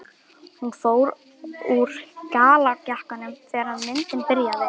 Hún fór úr gallajakkanum þegar myndin byrjaði.